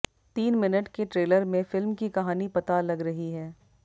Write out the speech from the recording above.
तीन मिनट के ट्रेलर में फिल्म की कहानी पता लग रही है